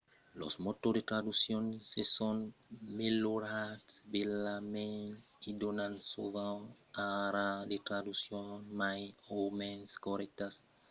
los motors de traduccion se son melhorats bèlament e donan sovent ara de traduccions mai o mens corrèctas e mai rarament de charabiat mas cal encara far atencion que se pòdon enganar completament